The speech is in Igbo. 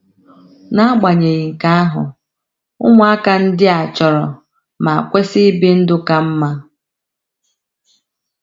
N’agbanyeghị nke ahụ, ụmụaka ndị a chọrọ ma kwesị ibi ndụ ka mma.